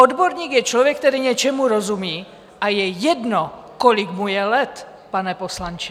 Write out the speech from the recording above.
Odborník je člověk, který něčemu rozumí, a je jedno, kolik mu je let, pane poslanče.